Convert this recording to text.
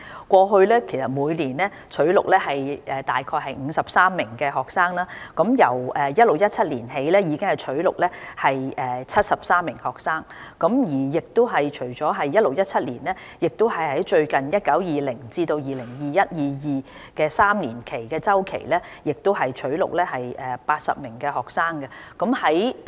過去每年取錄大概53名學生，自 2016-2017 年度起已經取錄73名學生，而在 2019-2020 年度至 2021-2022 年度的3年期亦會取錄80名學生。